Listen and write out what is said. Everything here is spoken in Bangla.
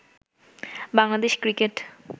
বাংলাদেশ ক্রিকেট